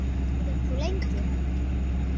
Verður þú lengi?